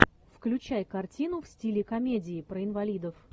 включай картину в стиле комедии про инвалидов